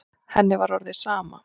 Henni var orðið sama.